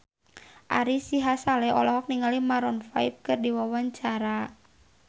Ari Sihasale olohok ningali Maroon 5 keur diwawancara